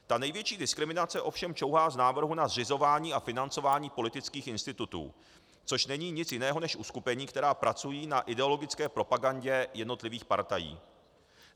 Ta největší diskriminace ovšem čouhá z návrhu na zřizování a financování politických institutů, což není nic jiného než uskupení, která pracují na ideologické propagandě jednotlivých partají.